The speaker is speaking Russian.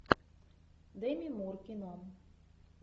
деми мур кино